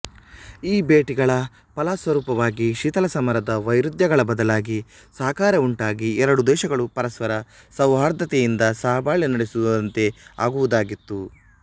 ಈ ಭೇಟಿಗಳ ಫಲಸ್ವರೂಪವಾಗಿ ಶೀತಲಸಮರದ ವೈರುಧ್ಯಗಳ ಬದಲಾಗಿ ಸಹಕಾರ ವುಂಟಾಗಿ ಎರಡೂ ದೇಶಗಳು ಪರಸ್ಪರ ಸೌಹಾರ್ದತೆಯಿಂದ ಸಹಬಾಳ್ವೆ ನಡೆಸುವಂತೆ ಆಗುವುದಾಗಿತ್ತು